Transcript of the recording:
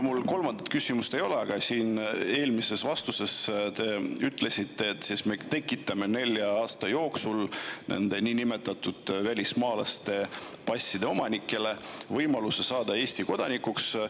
Mul kolmandat küsimust ei ole, aga eelmises vastuses ütlesite: me tekitame nelja aasta jooksul nende niinimetatud välismaalaste passide omanikele võimaluse saada Eesti kodanikuks.